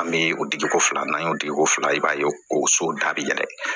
An bɛ o digiko fila n'an y'o digiko fila i b'a ye o so da bi yɛlɛ